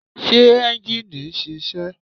Ṣé ẹ́njìnì ń ṣiṣẹ́?